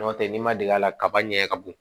N'o tɛ n'i ma deli a la kaba ɲɛ ka bɔn